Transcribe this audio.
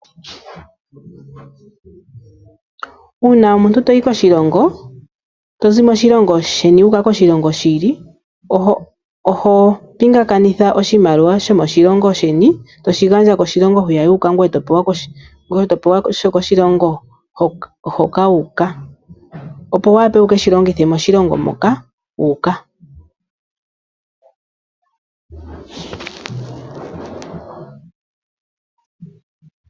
Uuna omuntu toyi koshilongo tozi moshilongo sheni wu uka koshilongo shi ili oho pingakanitha oshimaliwa shomoshilongo sheni ,to shi gandja koshilongo hwiya yi uka ngoye topewa sho koshilongo hoka wu uka opo wu wape wu keshi longithe moshilongo moka wu uka .